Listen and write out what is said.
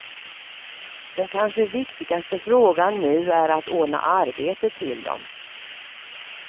Den kanske viktigaste frågan nu är att ordna arbete till dem.